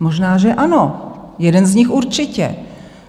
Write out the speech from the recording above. Možná že ano, jeden z nich určitě.